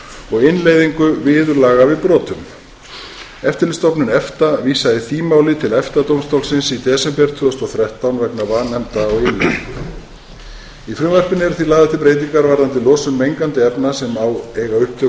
og innleiðingu viðurlaga við brotum eftirlitsstofnun efta vísaði því máli til efta dómstólsins í desember tvö þúsund og þrettán vegna vanefnda á innleiðingu í frumvarpinu eru því lagðar til breytingar varðandi losun mengandi efna sem eiga upptök